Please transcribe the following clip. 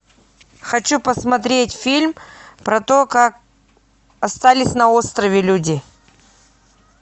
хочу посмотреть фильм про то как остались на острове люди